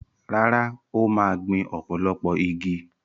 Rárá, ó máa gbìn ọ̀pọ̀lọpọ̀ igi.